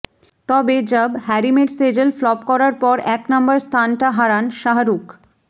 তবে Jab Harry Met Sejal flop করার পর এক নম্বর স্থানটা হারান শাহরুখ